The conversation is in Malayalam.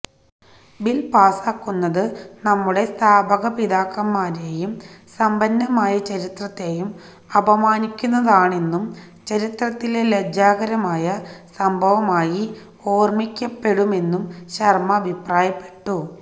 ബിൽ പാസാക്കുന്നത് നമ്മുടെ സ്ഥാപക പിതാക്കന്മാരെയും സമ്പന്നമായ ചരിത്രത്തെയും അപമാനിക്കുന്നതാണെന്നും ചരിത്രത്തിലെ ലജ്ജാകരമായ സംഭവമായി ഓർമ്മിക്കപ്പെടുമെന്നും ശർമ്മ അഭിപ്രായപ്പെട്ടു